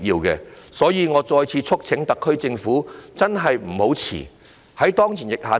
因此，我再次促請特區政府不要怠慢。